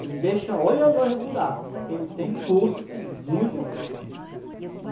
Ele deixa, olha lá os buraco, porque ele tem força também, muita força.